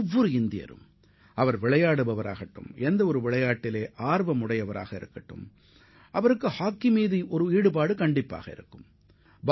ஒவ்வொரு இந்தியரும் அவர் எந்த விளையாட்டை விளையாடினாலும் அல்லது எந்த விளையாட்டில் ஆர்வம் கொண்டவராக இருந்தாலும் நிச்சயமாக ஹாக்கிப் போட்டியில் ஆர்வம் கொண்டவராக இருப்பார்